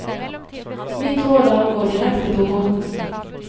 Mitt råd er å gå direkte på båten.